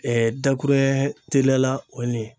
Ɛɛ dakuruɲɛ teliya la o nin ye